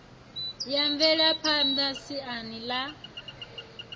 ya mvelaphan ḓa siani ḽa